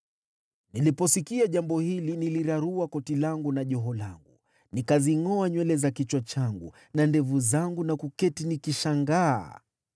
Niliposikia jambo hili nilirarua koti langu na joho langu, nikazingʼoa nywele za kichwa changu na ndevu zangu na kuketi nikishangaa.